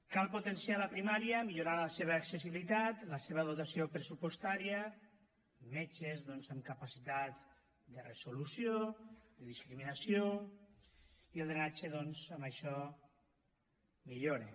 cal potenciar la primària millorant la seva accessibilitat la seva dotació pressupostària metges doncs amb capacitat de resolució de discriminació i el drenatge doncs amb això millora